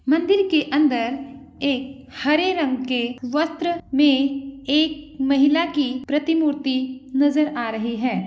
मंदिर के अंदर एक हरे रंग के वस्त्र में एक महिला की प्रतिमूर्ति नजर आ रही है।